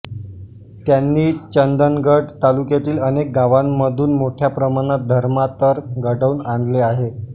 त्यांनी चंदगड तालुक्यातील अनेक गावांमधून मोठया प्रमाणात धर्मांतर घडवून आणले आहे